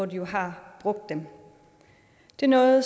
de jo har brugt dem det er noget